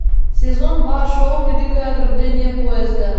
сезон два шоу великое ограбление поезда